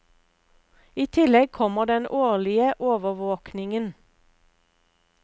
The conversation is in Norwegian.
I tillegg kommer den årlige overvåkingen.